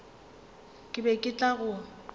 ke be ke tla go